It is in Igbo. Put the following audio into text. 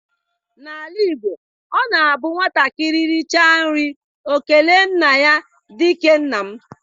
Na ala Igbo, ọ na abụ nwatakịrị richa nri ọ kelee nna ya dike nna m.